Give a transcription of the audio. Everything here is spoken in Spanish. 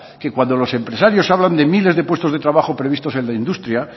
que cuando los empresarios hablan de miles de puestos de trabajo previstos en la industria